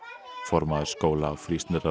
formaður skóla og